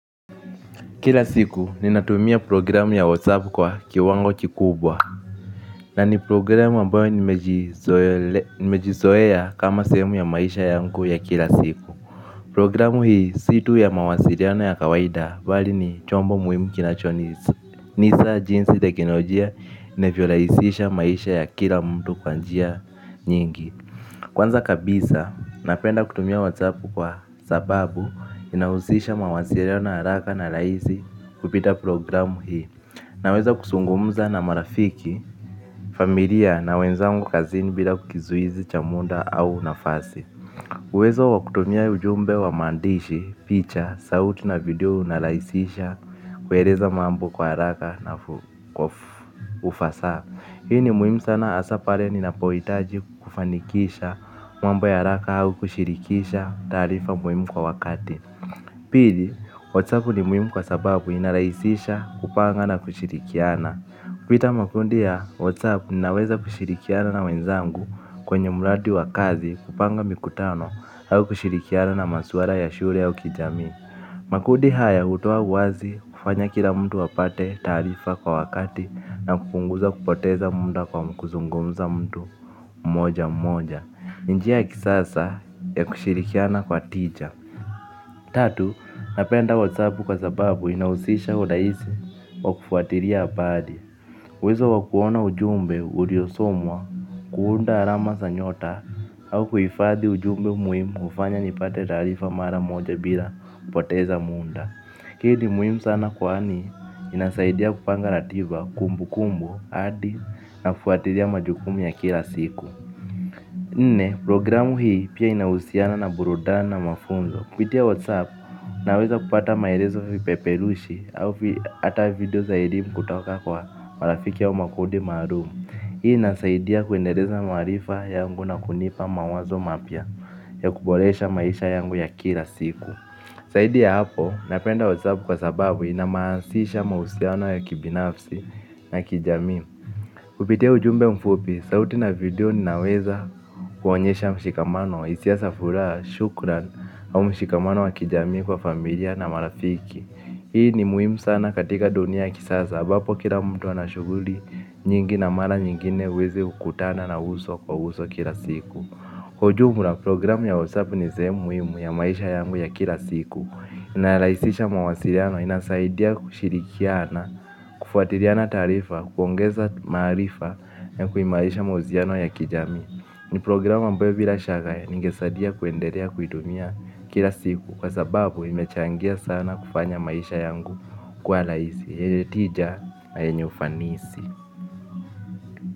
Kila siku ninatumia programu ya WhatsApp kwa kiwango kikubwa. Na ni programu ambayo nimejizoea kama sehemu ya maisha yangu ya kila siku. Programu hii si tu ya mawasiliano ya kawaida bali ni chombo muhimu kinachoonesha jinsi teknolojia inavyorahisisha maisha ya kila mtu kwa njia nyingi. Kwanza kabisa napenda kutumia WhatsApp kwa sababu sababu inahusisha mawasiliano na haraka na rahisi kupitia programu hii. Naweza kuzungumza na marafiki, familia na wenzangu kazini bila kizuizi cha muda au nafasi. Uwezo wa kutumia ujumbe wa maandishi, picha, sauti na video unarahisisha kueleza mambo kwa haraka na ufasaha. Hii ni muhimu sana hasa pale ninapohitaji kufanikisha mambo ya haraka au kushirikisha taarifa muhimu kwa wakati. Pili, WhatsApp ni muhimu kwa sababu inarahisisha kupanga na kushirikiana. Kupitia makundi ya WhatsApp ninaweza kushirikiana na wenzangu kwenye mradi wa kazi kupanga mikutano au kushirikiana na masuala ya shule au kijamii. Makundi haya hutoa uwazi kufanya kila mtu apate taarifa kwa wakati na kupunguza kupoteza muda kwa kuzungumza mtu mmoja mmoja. Njia ya kisasa ya kushirikiana kwa tija. Tatu, napenda Whatsapp kwa sababu inahusisha urahisi wa kufuatilia habari. Uwezo wa kuona ujumbe uliosomwa, kuunda alama za nyota au kuhifadhi ujumbe muhimu hufanya nipate taarifa mara moja bila kupoteza muda hii ni muhimu sana kwani inasaidia kupanga ratiba kumbukumbu hadi nafuatilia majukumu ya kila siku. Nne, programu hii pia inahusiana na burudani na mafunzo. Kupitia whatsapp naweza kupata maelezo vipeperushi au hata video za elimu kutoka kwa marafiki au makundi maalumu. Hii inasaidia kuendeleza maarifa yangu na kunipa mawazo mapya ya kuboresha maisha yangu ya kila siku zaidi ya hapo napenda whatsapp kwa sababu inahamasisha mahusiano ya kibinafsi na kijamii. Kupitia ujumbe mfupi, sauti na video ninaweza kuonyesha mshikamano, hisia za furaha shukran au mshikamano wa kijamii kwa familia na marafiki. Hii ni muhimu sana katika dunia ya kisasa, ambapo kila mtu anashughuli nyingi na mara nyingine huwezi kukutana na uso kwa uso kila siku. Kwa ujumla programu ya Whatsapp ni sehemu muhimu ya maisha yangu ya kila siku. Inarahisisha mawasiliano inasaidia kushirikiana, kufuatiriana taarifa, kuongeza maarifa na kuimarisha mahusiano ya kijamii. Ni programu ambayo bila shaka ningesaidia kuendelea kuitumia kila siku kwa sababu imechangia sana kufanya maisha yangu kuwa rahisi. Yenye tija na yenye ufanisi.